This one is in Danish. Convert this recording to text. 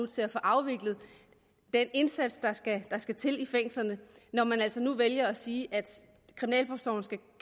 til at få afviklet den indsats der skal skal til i fængslerne når man altså nu vælger at sige at kriminalforsorgen